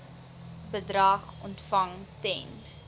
bedrag ontvang ten